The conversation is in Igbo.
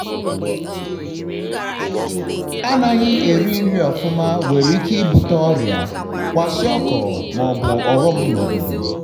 anaghi eri nri ọfụma nwere ike ibute oria-kwashiọkọ nakwazi ọghọm na obodo.